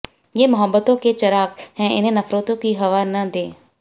ये मोहब्बतों के चराग़ हैं इन्हें नफ़रतों की हवा न दे